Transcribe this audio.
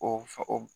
O fɛ o